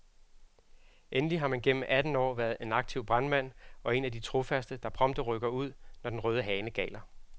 Endelig har han gennem atten år været en aktiv brandmand og er en af de trofaste, der prompte rykker ud, når den røde hane galer.